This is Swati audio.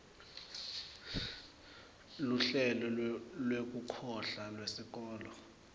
luhlelo lwekuhlola lwesikolo